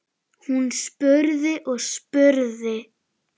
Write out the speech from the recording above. Hún spurði og spurði.